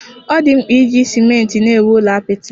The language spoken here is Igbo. Ọ dịghị mkpa iji simenti na-ewu ụlọ apịtị.